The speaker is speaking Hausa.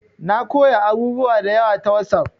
Na koya abubuwa da yawa ta WhatsApp